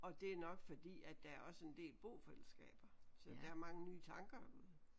Og det er nok fordi at der er også en del bofællesskaber så der er mange nye tanker